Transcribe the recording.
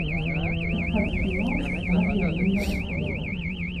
искать кино магия лунного света